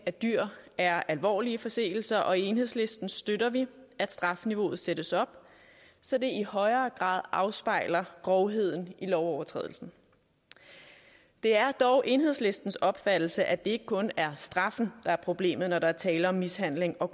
af dyr er alvorlige forseelser og i enhedslisten støtter vi at strafniveauet sættes op så det i højere grad afspejler grovheden i lovovertrædelsen det er dog enhedslistens opfattelse at det ikke kun er straffen der er problemet når der er tale om mishandling og